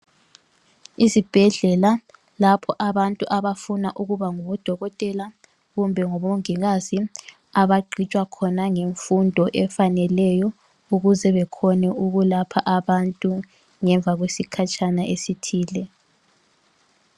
Izibhedlela lapho abantu abafuna ukuba ngodokotela kumbe ngomongikazi. Abagqitshwa khona ngemfundo efaneleyo ukuze bekhone ukulapha abantu ngemva kwesikhatshana esithile.